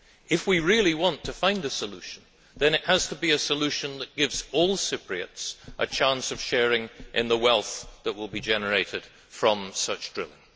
If we really want to find a solution, then it has to be a solution that gives all Cypriots a chance of sharing in the wealth that will be generated from the drilling.